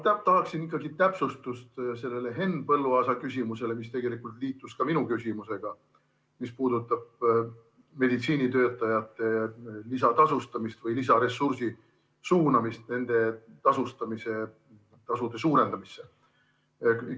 Ma tahaksin täpsustust sellele Henn Põlluaasa küsimusele, mis tegelikult liitus ka minu küsimusega, mis puudutab meditsiinitöötajate lisatasustamist või lisaressursi suunamist nende tasustamisse, tasude suurendamisse.